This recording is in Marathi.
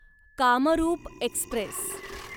कामरूप एक्स्प्रेस